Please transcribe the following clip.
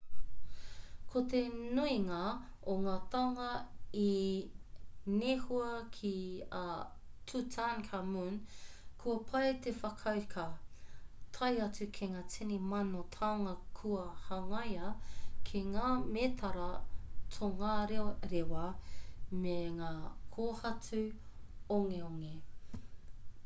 ko te nuinga o ngā taonga i nehua ki a tutankhamun kua pai te whakauka tae atu ki ngā tini mano taonga kua hangaia ki ngā mētara tongarerewa me ngā kōhatu ongeonge